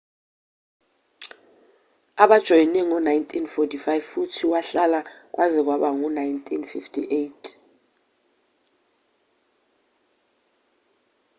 ubajoyine ngo-1945 futhi wahlala kwaze kwaba u-1958